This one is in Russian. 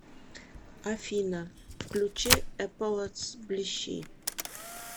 афина включи эполэтс блищи